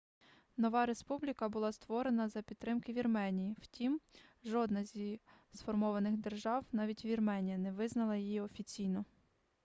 нова республіка була створена за підтримки вірменії втім жодна зі сформованих держав навіть вірменія не визнала її офіційно